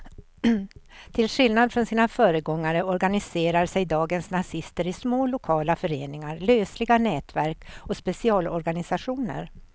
Till skillnad från sina föregångare organiserar sig dagens nazister i små lokala föreningar, lösliga nätverk och specialorganisationer.